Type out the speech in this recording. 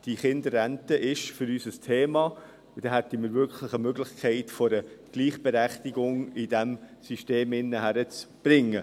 Die Kinderrente ist für uns ein Thema, und dadurch hätte man wirklich eine Möglichkeit, die Gleichberechtigung innerhalb dieses Systems hinzukriegen.